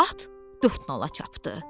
At dörtnala çapdı.